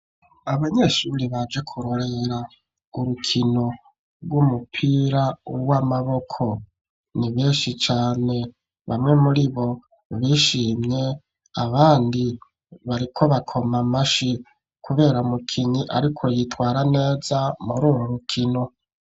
Abanyeshuri baje kurorera urwo rukino rw'umupira w'amaboko ni beshi cane, bamwe muri bo bishimye abandi bariko bakomamashi kubera mukinyi ariko yitwara neza muri uru rukino.